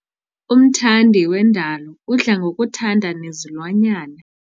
Umthandi wendalo udla ngokuthanda nezilwanyana.